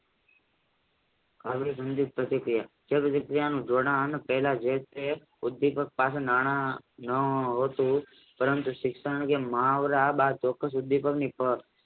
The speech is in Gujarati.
અભિસંદિત પ્રતિક્રિયા પહેલા જેતે ઉદ્વિપક સાથે નાણાં પરંતુ શિક્ષણ મહાવરા ઉદ્વિપકની